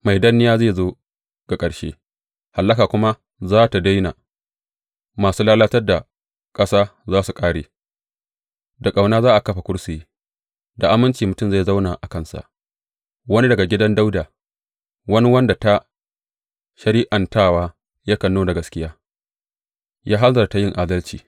Mai danniya zai zo ga ƙarshe hallaka kuma za tă daina; masu lalatar da ƙasa za su kare Da ƙauna za a kafa kursiyi; da aminci mutum zai zauna a kansa, wani daga gidan Dawuda, wani wanda ta shari’antawa yakan nuna gaskiya ya hanzarta yin adalci.